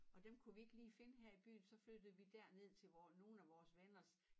Og dem kunne vi ikke lige finde her i byen så flyttede vi derned til vore nogen af vores venners